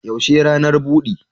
Yaushe ranar bude?